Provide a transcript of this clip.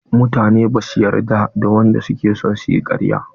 Mutane bash yarda da wadanda suke son yi ƙarya.